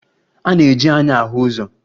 A na-eji anya ahu ụzọ